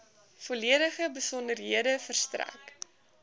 volledige besonderhede verstrek